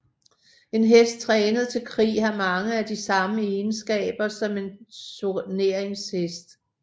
En hest trænet til krig har mange af de samme egenskaber som en turneringshest